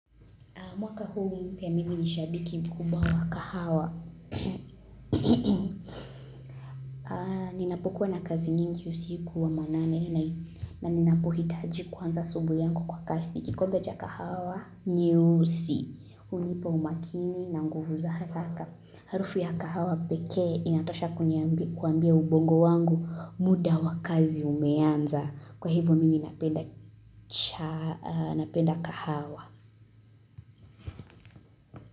Mwaka huu mpya mimi ni shabiki mkubwa wa kahawa. Ninapokuwa na kazi nyingi usiku wa manane na ninapohitaji kwanza asubuhi yangu kwa kasi. Kikombe cha kahawa, nyeusi, hunipa umakini na nguvu za haraka. Harufu ya kahawa pekee inatosha kuambia ubongo wangu muda wa kazi umeanza. Kwa hivyo mimi napenda kahawa.